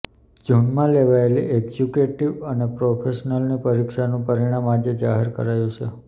જૂનમાં લેવાયેલી એક્ઝિક્યુટિવ અને પ્રોફેશનલની પરીક્ષાનું પરિણામ આજે જાહેર કરાયું છે